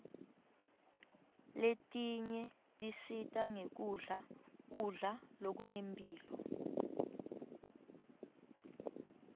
letinye tisita ngekudla kudla lokunemphilo